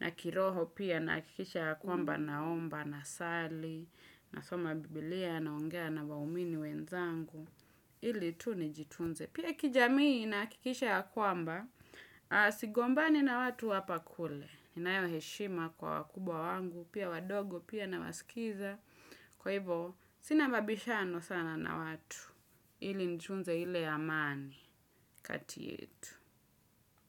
na kiroho pia nahakikisha kwamba naomba na sali na soma biblia na ongea na waumini wenzangu ili tu nijitunze Pia kijamii nahakikisha ya kwamba Sigombani na watu hapakule ninayo heshima kwa wakubwa wangu Pia wadogo pia na wasikiza Kwa hivo sinababishano sana na watu ili nitunze ile amani kati yetu.